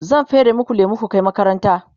zan fere maku lemu ku Kai makaranta